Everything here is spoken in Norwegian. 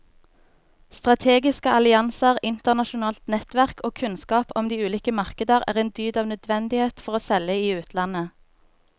Strategiske allianser, internasjonalt nettverk og kunnskap om de ulike markeder er en dyd av nødvendighet for å selge i utlandet.